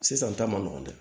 Sisan ta man nɔgɔn dɛ